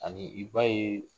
Abi i b'a ye